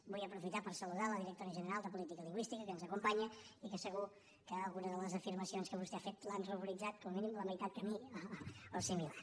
vull aprofitar per saludar la directora general de política lingüística que ens acompanya i que segur que alguna de les afirmacions que vostè ha fet l’han ruboritzat com a mínim la meitat que a mi o similar